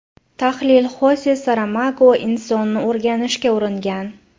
Tahlil Xose Saramago insonni o‘rganishga uringan.